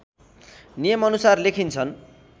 नियम अनुसार लेखिन्छन्